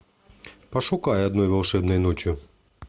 пошукай одной волшебной ночью